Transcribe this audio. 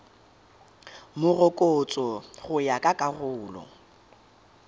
morokotso go ya ka karolo